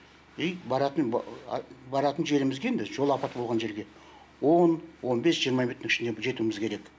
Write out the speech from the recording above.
и баратын баратын жерімізге біз жол апаты болған жерге он он бес жиырма минуттың ішінде біз жетуіміз керек